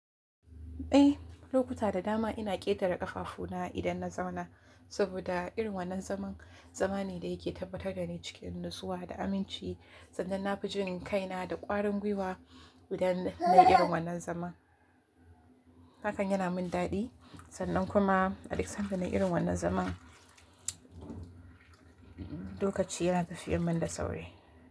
Eh, lokuta da dama ina ƙetare ƙafafu na idan na zauna saboda irin wannan zaman. Zamane ne da yake tabbatar da ni cikin natsuwa da aminci sannan na fi jin kaina da ƙwarin gwiwa idan na irin wannan zaman. Hakan yana min daɗi sannan kuma a duk sanda na irin wannan zaman, lokaci ya tafi min da sauri.